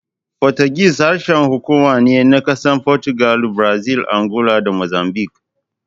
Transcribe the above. Fotigis harshen hukuma ne na ƙasashen Fotugal, Brazil, Angola da Mozambik.